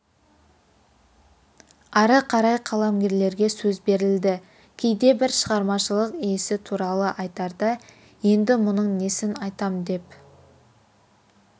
ары қарай қаламгерлерге сөз берілді кейде бір шығармашылық иесі туралы айтарда енді мұның несін айтам деп